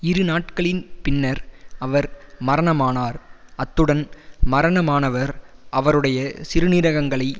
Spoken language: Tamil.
இரு நாட்களின் பின்னர் அவர் மரணமானார் அத்துடன் மரணமானவர் அவருடைய சிறுநீரகங்களை